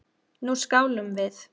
Nú skálum við!